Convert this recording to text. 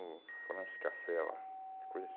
o Francis Café, é uma coisa